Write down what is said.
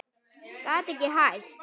Gat ekki hætt.